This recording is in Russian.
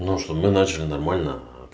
но чтоб мы начали нормально